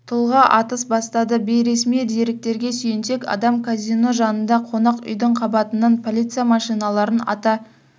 тұлға атыс бастады бейресми деректерге сүйенсек адам казино жанында қонақ үйдің қабатынан полиция машиналарын ата